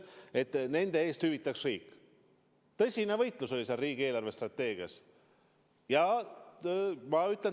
Tõsine võitlus oli sellega seoses riigi eelarvestrateegiat koostades.